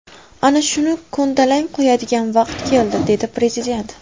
Ana shuni ko‘ndalang qo‘yadigan vaqt keldi”, dedi Prezident.